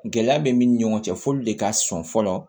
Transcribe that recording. Gɛlɛya bɛ min ni ɲɔgɔn cɛ f'olu de ka sɔn fɔlɔ